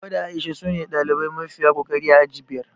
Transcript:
Hauwa da A'isha sune ɗalibai mafiya kokari a aji biyar